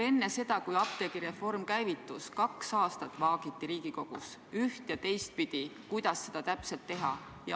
Enne seda, kui apteegireform käivitus, vaagiti kaks aastat Riigikogus üht- ja teistpidi, kuidas seda täpselt teha.